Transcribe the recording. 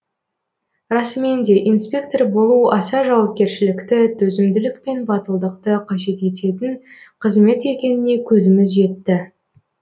расымен де инспектор болу аса жауапкершілікті төзімділік пен батылдықты қажет ететін қызмет екеніне көзіміз жетті